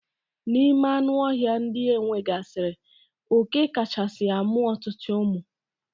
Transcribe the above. N'ime anụ ọhịa ndị enwegasiri, oké kachasi amụ ọtụtụ ụmụ.